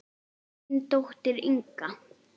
Þín dóttir, Inga.